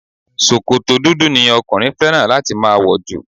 sòkòtò dúdú ni okunrin fẹràn láti ma wọ̀jù